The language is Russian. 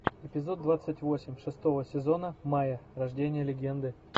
эпизод двадцать восемь шестого сезона майя рождение легенды